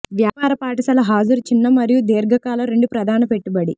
వ్యాపార పాఠశాల హాజరు చిన్న మరియు దీర్ఘ కాల రెండు ప్రధాన పెట్టుబడి